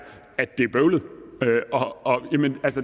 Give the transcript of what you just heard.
at det er bøvlet